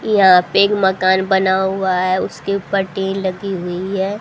यहां पे एक मकान बना हुआ है उसके ऊपर टीन लगी हुई है।